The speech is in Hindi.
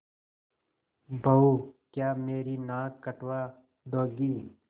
बहू क्या मेरी नाक कटवा दोगी